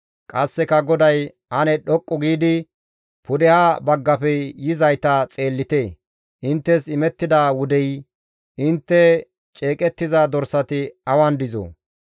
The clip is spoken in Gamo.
Qasseka GODAY, «Ane dhoqqu giidi pudeha baggafe yizayta xeellite; inttes imettida wudey, intte ceeqettiza dorsati awan dizoo?